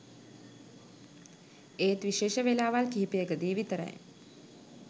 එත් විශේෂ වෙලාවල් කීපයකදී විතරයි